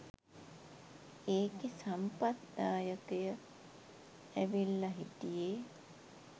ඒකෙ සම්පත් දායකය ඇවිල්ල හිටියෙ